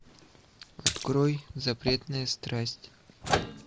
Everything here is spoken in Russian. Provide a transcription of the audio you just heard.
открой запретная страсть